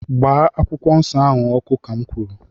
gbaa akwụkwọ nsọ ahụ ọkụ, ka'm kwuru!